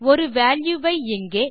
ஒரு வால்யூ வை இங்கே